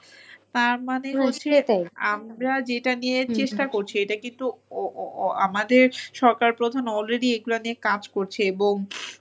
তার মানে হচ্ছে আমরা যেটা নিয়ে চেষ্টা করছি এটা কিন্তু আমাদের সরকার প্রধান already এগুলা নিয়ে কাজ করছে এবং